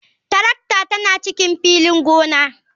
Tarakta tana cikin filin gona.